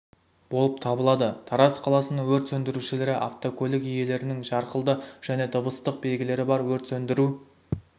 болып табылады тараз қаласының өрт сөндірушілері автокөлік иелерінің жарқылды және дыбыстық белгілері бар өрт сөндіру